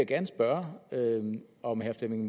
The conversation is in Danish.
gerne spørge om herre flemming